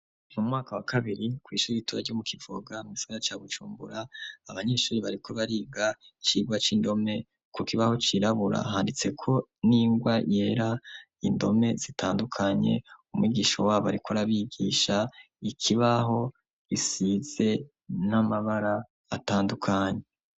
Mu mwaka wa kabiri ku ishuri itura ryo mu kivoga m isora cya gucumbura abanyeshuri barikub riga cigwa c'indome ku kibaho cyirabura handitse ko n'ingwa yera indome zitandukanye umwigisho wabo ariko arabigisha ikibaho kisize n'amabara atandukanye.